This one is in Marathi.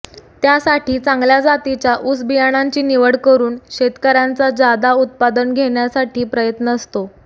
त्यासाठी चांगल्या जातीच्या ऊस बियाणांची निवड करुन शेतकऱ्यांचा जादा उत्पादन घेण्यासाठी प्रयत्न असतो